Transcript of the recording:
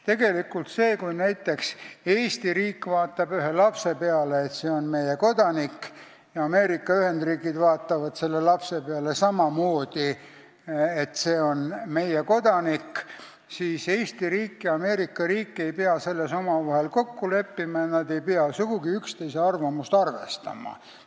Tegelikult on nii, et kui näiteks Eesti riik vaatab ühe lapse peale, et see on meie kodanik, ja Ameerika Ühendriigid vaatavad selle lapse peale samamoodi, et see on meie kodanik, siis Eesti ja Ameerika ei pea selles omavahel kokku leppima, nad ei pea sugugi üksteise arvamust arvestama.